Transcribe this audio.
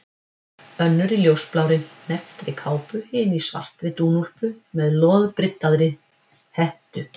Önnur í ljósblárri, hnepptri kápu, hin í svartri dúnúlpu með loðbryddaðri hettu.